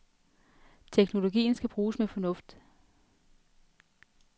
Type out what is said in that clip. Teknologien skal bruges med fornuft.